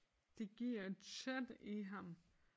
Det giver et sæt i ham